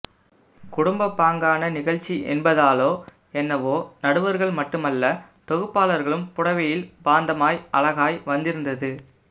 குடும்பப்பாங்கான நிகழ்ச்சி என்பதாலோ என்னவோ நடுவர்கள் மட்டுமல்ல தொகுப்பாளர்களும் புடவையில் பாந்தமாய் அழகாய் வந்திருந்தது